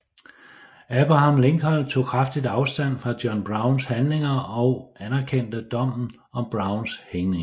Abraham Lincoln tog kraftigt afstand fra John Browns handlinger og anerkendte dommen om Browns hængning